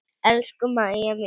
Elsku Mæja mín.